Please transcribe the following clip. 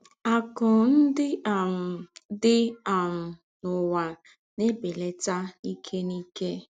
Àkụ́ ńdị́ um dị́ um n’ụ́wá ná-èbèlàtà n’íkè n’íkè.